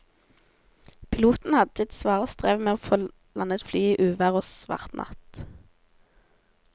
Piloten hadde sitt svare strev med å få landet flyet i uvær og svart natt.